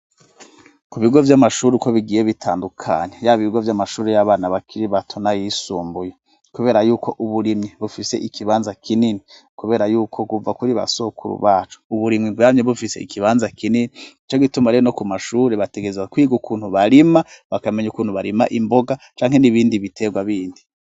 Ku bigo vy'amashuri uko bigiye bitandukanye yabo ibigo vy'amashuri y'abana bakiri batona yisumbuye, kubera yuko uburimyi bufise ikibanza kinini, kubera yuko guva kuri ba sokuru bacu uburimwi bwamyu bufise ikibanza kinini ico gituma rero no ku mashuri bategezwa kwiga ukuntu barima bakamenya ukuntu barima imboga canke n'ibindi bia terwa bindi.